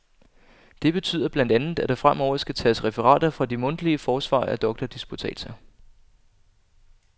Det betyder blandt andet, at der fremover skal tages referater fra de mundtlige forsvar af doktordisputatser.